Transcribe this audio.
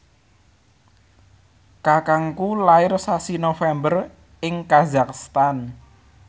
kakangku lair sasi November ing kazakhstan